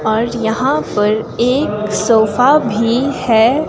और यहां पर एक सोफा भी है।